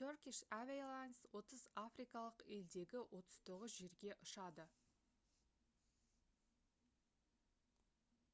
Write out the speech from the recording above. turkish airlines 30 африкалық елдегі 39 жерге ұшады